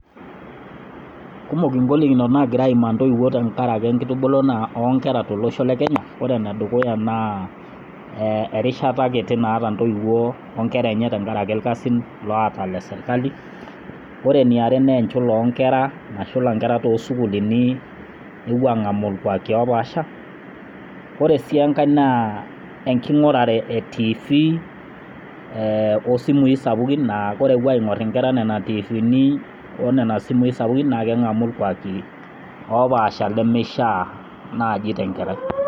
Kumok igolikinot nagira aima ntowio tenkaraki enkitubuluna oo nkera to losho le Kenya, ore ene dukuya naa erishata kiti naata intowuo onkera enye te nkaraki irkasin otaa le serikali. Ore eni are na enchula nashula nishula inkera to sukulini, nepuo ang'amu irkuakin opasha. Ore sii enkai naa enking'urare ee tv, oo simui sapukini naa ore epuo aing'or inkera nena na tifuni oo nena simui sapukin, naa keng'amu irkuaki loopasha lemeishia naji tenkerai